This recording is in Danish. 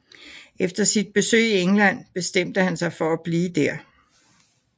Efter sit besøg i England bestemte han sig for at blive der